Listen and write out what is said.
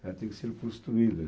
Ela tem que ser construída.